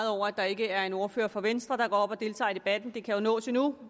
over at der ikke er en ordfører fra venstre der går op og deltager i debatten det kan jo nås endnu